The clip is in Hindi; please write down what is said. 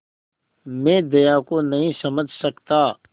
मैं दया को नहीं समझ सकता